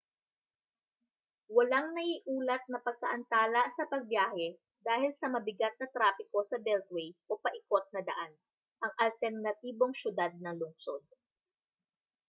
walang naiulat na pagkaantala sa pagbiyahe dahil sa mabigat na trapiko sa beltway o paikot na daan ang alternatibong siyudad ng lungsod